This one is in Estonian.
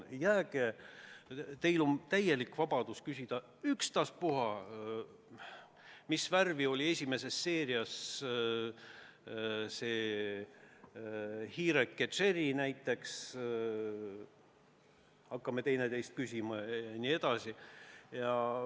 Jah, teil on täielik vabadus küsida ükstaspuha mida – mis värvi oli esimeses seerias hiireke Jerry näiteks, hakkame teineteiselt selliseid asju küsima.